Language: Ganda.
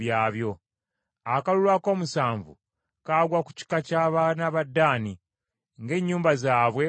Akalulu akoomusanvu kaagwa ku kika ky’abaana ba Ddaani ng’ennyumba zaabwe bwe zaali.